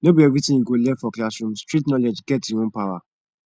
no be everything you go learn for classroom street knowledge get e own power